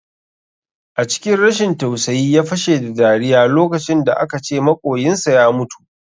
A cikin rashin tausayi ya fashe da dariya lokacin da aka ce maƙoyinsa ya mutu